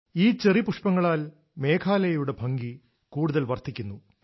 ഈ ചെറി പുഷ്പങ്ങളാൽ മേഘാലയയുടെ ഭംഗി കൂടുതൽ വർദ്ധിക്കുന്നു